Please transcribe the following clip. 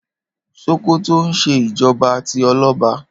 Ṣòkòtò ń ṣe ìjọba tí ọlọ́ba